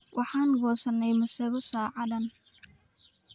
Waxaan goosanay masago saacadan.